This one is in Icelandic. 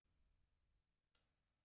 Bless, elsku amma mín.